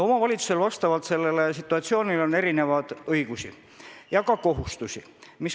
Omavalitsusel on olenevalt situatsioonist erinevaid õigusi ja ka kohustusi.